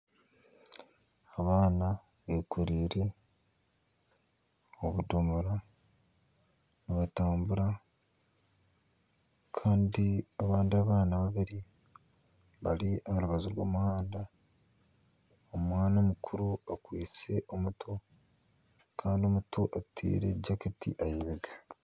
Abaana bekoreire obudomora nibatambura kandi abandi abaana babiri bari aharubaju rw'omuhanda, omwana omukuru akwitse omuto Kandi omuto ateire jaketi ahaibega.